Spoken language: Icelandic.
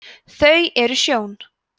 þau eru sjón